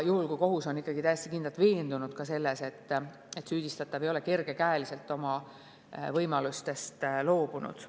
Kohus peab ikkagi olema täiesti kindlalt veendunud, et süüdistatav ei ole kergekäeliselt oma võimalustest loobunud.